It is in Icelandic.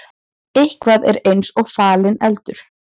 Eitthvað er eins og falinn eldur